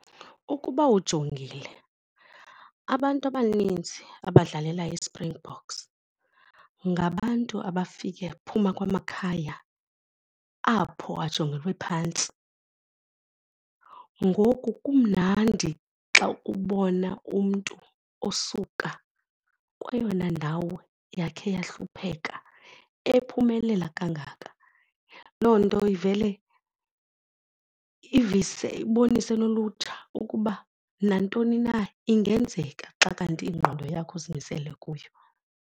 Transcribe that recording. Ukuba ujongile, abantu abaninzi abadlalela iSpringboks ngabantu abafike phuma kwamakhaya apho ajongelwe phantsi. Ngoku kumnandi xa ubona umntu osuka kweyona ndawo yakhe yahlupheka ephumelela kangaka. Loo nto ivele ivise, ibonise nolutsha ukuba nantoni na ingenzeka xa kanti ingqondo yakho uzimisele kuyo.